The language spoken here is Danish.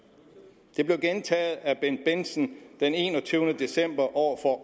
det blev gentaget af bendt bendtsen den enogtyvende december over for